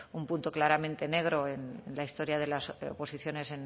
un punto claramente negro en la historia de las oposiciones